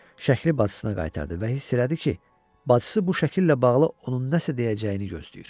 Şəkili bacısına qaytardı və hiss elədi ki, bacısı bu şəkillə bağlı onun nəsə deyəcəyini gözləyir.